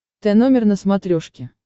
тномер на смотрешке